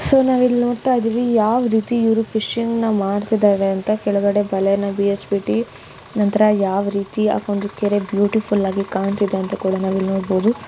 So ನಾವ್ ಇಲ್ ನೋಡ್ತಾ ಇದೀವಿ ಯಾವ ರೀತಿ ಇವರು ಫಿಶ್ ನ್ನು ಮಾಡ್ತಿದ್ದಾರೆ ಅಂತ ಕೆಳಗಡೆ ಬಲೆಯನ್ನ ಬಿಳ್ಸ್ಬಿಟ್ಟಿ ನಂತರ ಯಾವ ರೀತಿ ಆ ಕೆರೆ ಬ್ಯೂಟಿಫುಲ್ ಆಗಿ ಕಾಣ್ತಾ ಇದೆ ಅಂತ ಕೂಡ ನಾವ್ ಇಲ್ಲಿ ನೋಡಬಹುದು.